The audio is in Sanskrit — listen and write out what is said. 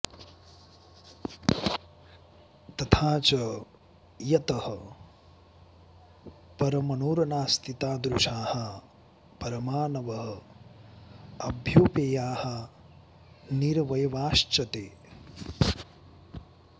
तथा च यतः परमणुर्नास्ति तादृशाः परमाणवः अभ्यौपेयाः निरवयवाश्च ते